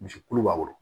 Misi kulu b'a kɔrɔ